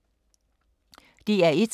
DR1